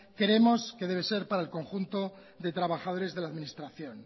creemos que debe ser para el conjunto de trabajadores de la administración